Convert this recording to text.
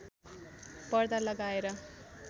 पर्दा लगाएर